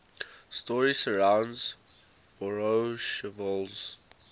story surrounds voroshilov's